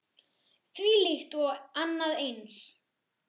Þvílíkt og annað eins.